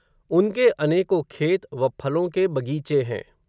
उनके अनेको खेत, व फलों के बग़ीचे हैं